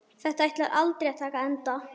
Þetta ætlar aldrei að taka enda.